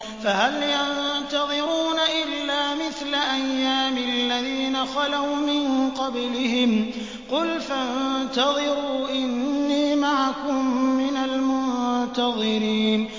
فَهَلْ يَنتَظِرُونَ إِلَّا مِثْلَ أَيَّامِ الَّذِينَ خَلَوْا مِن قَبْلِهِمْ ۚ قُلْ فَانتَظِرُوا إِنِّي مَعَكُم مِّنَ الْمُنتَظِرِينَ